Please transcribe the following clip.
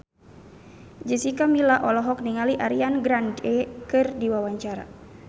Jessica Milla olohok ningali Ariana Grande keur diwawancara